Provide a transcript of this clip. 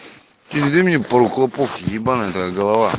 привези мне пару клопов ебаная твоя голова